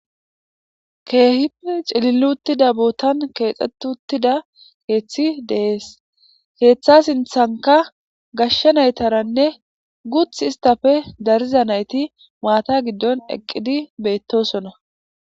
Kehipe c'lili utida botan kexetiza kethi de'es ketha sinthanka gashe naytarane guti istape dariza nayti mats gidon eqidi betosona.